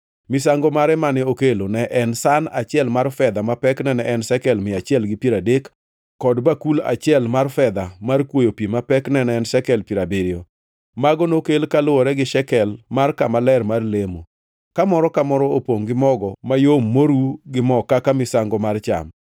Misango mare mane okelo ne en san achiel mar fedha ma pekne ne en shekel mia achiel gi piero adek, kod bakul achiel mar fedha mar kwoyo pi ma pekne ne en shekel piero abiriyo. Mago nokel kaluwore gi shekel mar kama ler mar lemo, ka moro ka moro opongʼ gi mogo mayom moru gi mo kaka misango mar cham;